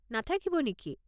নাথাকিব নেকি?